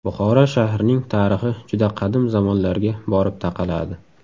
Buxoro shahrining tarixi juda qadim zamonlarga borib taqaladi.